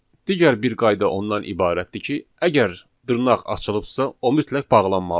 Digər bir qayda ondan ibarətdir ki, əgər dırnaq açılıbsa, o mütləq bağlanmalıdır.